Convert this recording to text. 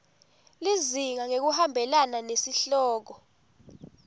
lizinga ngekuhambelana nesihloko